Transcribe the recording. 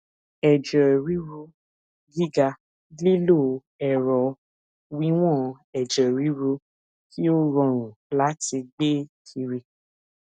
ẹjẹ riru giga lilo ẹrọ wiwọn ẹjẹ riru ti o rọrun lati gbe kiri